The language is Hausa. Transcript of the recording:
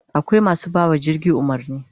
Akwai masu bawa jirgi umarni